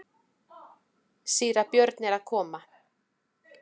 Síra Björn er að koma!